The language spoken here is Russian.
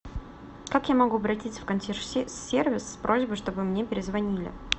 как я могу обратиться в консьерж сервис с просьбой чтобы мне перезвонили